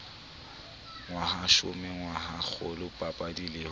ngwahashome ngwahakgolo bapabi le ho